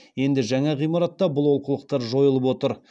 енді жаңа ғимаратта бұл олқылықтар жойылып отыр